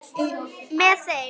Með þeim